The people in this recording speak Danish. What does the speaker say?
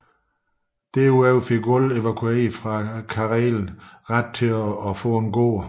Der ud over fik alle evakuerede fra Karelen ret til at modtage en gård